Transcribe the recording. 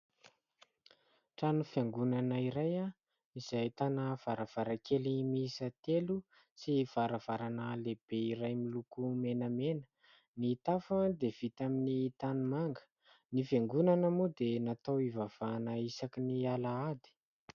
Trano fiangonana iray izay ahitana varavarankely miisa telo sy varavarana lehibe iray miloko menamena. Ny tafo dia vita amin'ny tanimanga. Ny fiangonana moa dia natao hivavahana isaky ny Alahady.